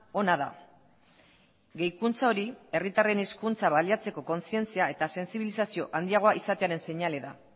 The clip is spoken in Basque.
ona da gehikuntza hori herritarren hizkuntza baliatzeko kontzientzia eta sensibilizazio handiagoa izatearen seinale da